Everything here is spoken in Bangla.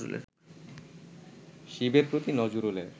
শিবের প্রতি নজরুলের